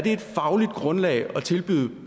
et fagligt grundlag at tilbyde